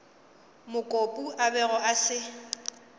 mokopu a bego a se